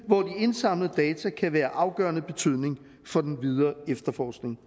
hvor de indsamlede data kan være af afgørende betydning for den videre efterforskning